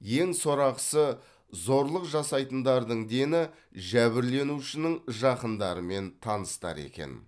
ең сорақысы зорлық жасайтындардың дені жәбірленушінің жақындары мен таныстары екен